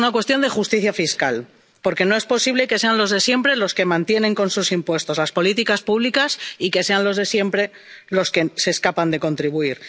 Es una cuestión de justicia fiscal, porque no es posible que sean los de siempre los que mantienen con sus impuestos las políticas públicas, y que sean los de siempre los que se escapan de contribuir.